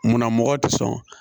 Munna mɔgɔ tɛ sɔn